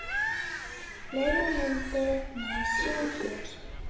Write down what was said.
Fleiri myndir má sjá hér